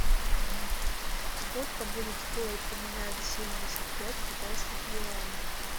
сколько будет стоить поменять семьдесят пять китайских юаней